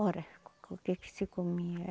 Ora, o que que se comia?